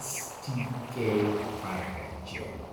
STK11 gene.